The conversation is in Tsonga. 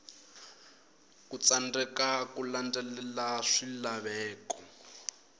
ku tsandzeka ku landzelela swilaveko